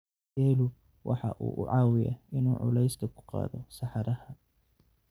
Geelu waxa uu caawiyaa in uu culays ku qaado saxaraha.